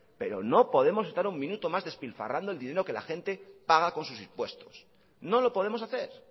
pero no podemos estar un minuto más despilfarrando el dinero que la gente paga con sus impuestos no lo podemos hacer